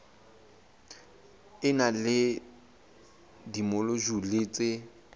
e na le dimojule tse